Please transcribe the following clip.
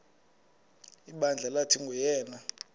ibandla lathi nguyena